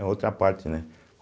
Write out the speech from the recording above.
É outra parte, né?